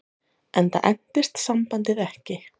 Enda entist sambandið ekki.